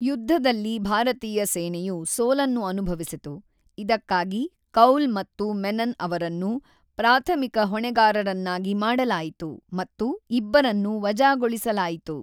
ಯುದ್ಧದಲ್ಲಿ ಭಾರತೀಯ ಸೇನೆಯು ಸೋಲನ್ನು ಅನುಭವಿಸಿತು, ಇದಕ್ಕಾಗಿ ಕೌಲ್ ಮತ್ತು ಮೆನನ್ ಅವರನ್ನು ಪ್ರಾಥಮಿಕ ಹೊಣೆಗಾರರನ್ನಾಗಿ ಮಾಡಲಾಯಿತು ಮತ್ತು ಇಬ್ಬರನ್ನೂ ವಜಾಗೊಳಿಸಲಾಯಿತು.